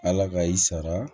Ala ka i sara